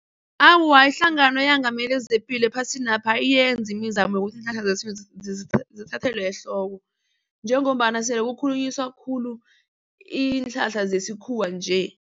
Awa, ihlangano eyengamele zepilo ephasina ayiyenzi imizamo yokuthi zithathelwe ehloko njengombana sele kukhulunyiswa khulu iinhlahla zesikhuwa nje.